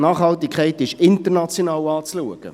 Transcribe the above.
Nachhaltigkeit ist international zu betrachten.